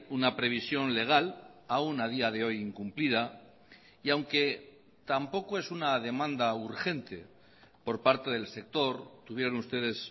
una previsión legal aún a día de hoy incumplida y aunque tampoco es una demanda urgente por parte del sector tuvieron ustedes